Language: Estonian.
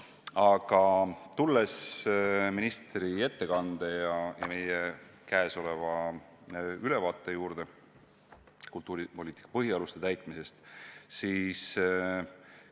Aga tulen nüüd ministri ettekande ja kultuuripoliitika põhialuste täitmise ülevaate juurde.